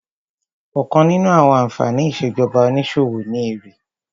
Ọ̀kan nínú àwọn ànfàní ìṣèjọba onísòwò ni èrè